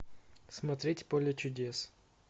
смотреть поле чудес